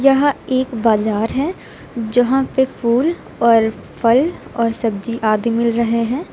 यह एक बाजार है जहां पे फूल और फल और सब्जी आदि मिल रहे हैं।